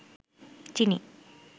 চিনি